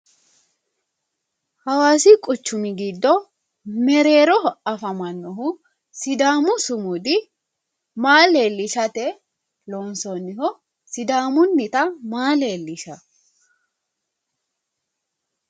Hawaasi quchumi giddo mereeroho afamannohu sidaamu sumudi maa leellishshate loonsoonniho? Sidaamunnita maa leellishanno?